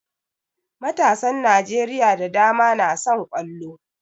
Matasan Najeriya da dama na son ƙwallo